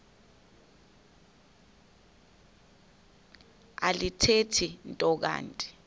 alithethi nto kanti